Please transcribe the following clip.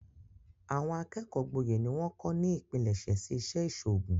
Àwọn akẹ́kọ̀ọ́ gboyè ni wọ́n kọ́ ni ipilẹsẹ̀ sí Ìṣẹ́ ìṣòògùn